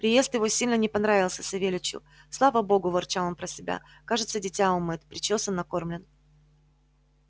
приезд его сильно не понравился савельичу слава богу ворчал он про себя кажется дитя умыт причёсан накормлен